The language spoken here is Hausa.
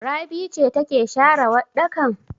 Rabi ce take share waɗɗakan?